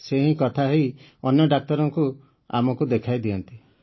ସେ ହିଁ କଥା ହୋଇ ଅନ୍ୟ ଡାକ୍ତରଙ୍କୁ ଆମକୁ ଦେଖାଇଦିଅନ୍ତି